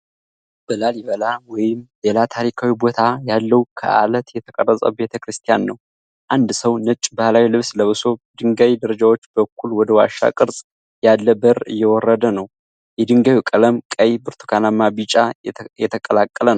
በላሊበላ ወይም ሌላ ታሪካዊ ቦታ ያለውን ከዓለት የተቀረጸ ቤተ ክርስቲያን ነው። አንድ ሰው ነጭ ባህላዊ ልብስ ለብሶ በድንጋይ ደረጃዎች በኩል ወደ ዋሻ ቅርጽ ያለ በር እየወረደ ነው። የድንጋዩ ቀለም ቀይ፣ ብርቱካናማና ቢጫ የተቀላቀለ ነው።